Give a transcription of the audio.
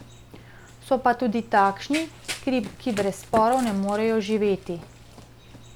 So pa tudi takšni, ki brez sporov ne morejo živeti.